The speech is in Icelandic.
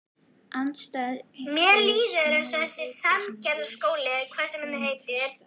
Andstæður magnast og aukast þá enginn vill hinum treysta.